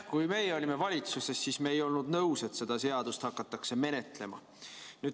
Kui meie olime valitsuses, siis me ei olnud nõus, et seda seaduseelnõu hakatakse menetlema.